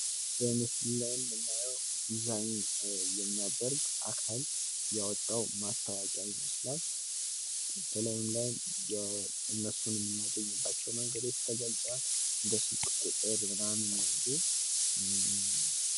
በምስሉ ላይ የምናየው ዲዛይን የሚያደርግ አካል ያወጣው ማስታወቂያ ይመስላል:: በላዩም ላይ እነሱን የምናገኝባቸው መንግዶች ተገልፀዋል እንደ ስልክ ቁጥር ምናምን ያሉ::